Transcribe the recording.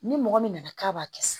Ni mɔgɔ min nana k'a b'a kɛ sa